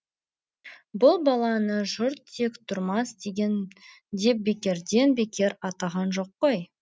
бұл баланы жұрт тектұрмас деген деп бекерден бекер атаған жоқ қой